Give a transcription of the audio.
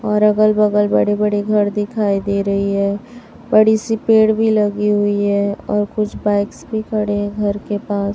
और अगल-बगल बड़े-बड़े घर दिखाई दे रही है बड़ी सी पेड़ भी लगी हुई है और कुछ बाइक्स भी खड़े है घर के पास --